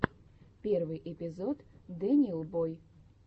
первый эпизод дэниел бой